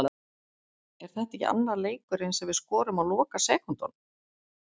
Er þetta ekki annar leikurinn sem við skorum á lokasekúndunum?